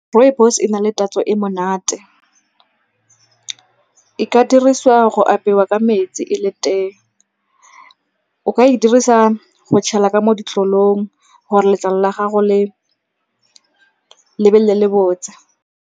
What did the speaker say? Rooibos e na le tatso e monate. E ka dirisiwa go apewa ka metsi e le teng. O ka e dirisa go tshele ka mo ditlolong gore letlalo la gago le be le lebotse.